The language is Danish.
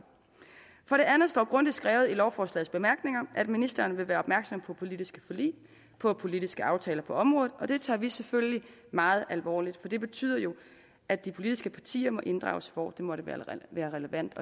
for det andet står det grundigt skrevet i lovforslagets bemærkninger at ministeren vil være opmærksom på politiske forlig på politiske aftaler på området og det tager vi selvfølgelig meget alvorligt for det betyder jo at de politiske partier må inddrages hvor det måtte være relevant